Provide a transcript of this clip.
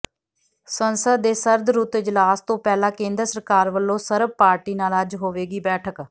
ਸੰਸਦ ਦੇ ਸਰਦਰੁੱਤ ਇਜਲਾਸ ਤੋਂ ਪਹਿਲਾਂ ਕੇਂਦਰ ਸਰਕਾਰ ਵੱਲੋਂ ਸਰਬ ਪਾਰਟੀ ਨਾਲ ਅੱਜ ਹੋਵੇਗੀ ਬੈਠਕ